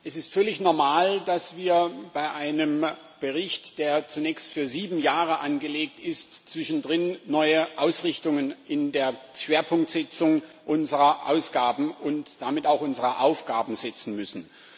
Es ist völlig normal, dass wir bei einem Bericht, der zunächst für sieben Jahre angelegt ist, zwischendrin neue Ausrichtungen in der Schwerpunktsetzung unserer Ausgaben und damit auch unserer Aufgaben setzen müssen.